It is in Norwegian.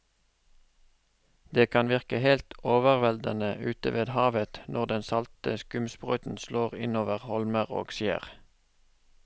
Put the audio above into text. Det kan virke helt overveldende ute ved havet når den salte skumsprøyten slår innover holmer og skjær.